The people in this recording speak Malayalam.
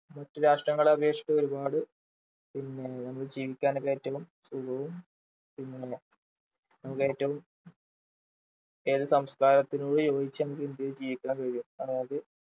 മറ്റു രാഷ്ട്രങ്ങളെ അപേക്ഷിച്ച് ഒരുപാട് പിന്നെ നമുക്ക് ജീവിക്കാനൊക്കെ ഏറ്റവും സുഖവും പിന്നെ നമുക്ക് ഏറ്റവും ഏതു സംസ്കാരത്തിനോടും യോജിച്ചു നമുക്ക് ഇന്ത്യയിൽ ജീവിക്കാൻ കഴിയും അതായത്